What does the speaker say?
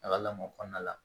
A ka lamɔ kɔnɔna la